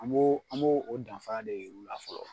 An b'o an b'o o danfara de yir'u la fɔlɔ.